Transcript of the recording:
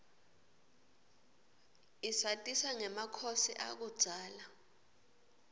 isatisa ngemakhosi akudzala